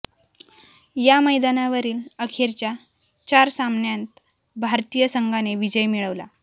या मैदानावरील अखेरच्या चार सामन्यांत भारतीय संघाने विजय मिळवला